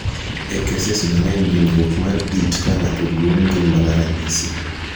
e keses mang'eny dinruok mar it ka ng'ato duong' gin mana ranyisi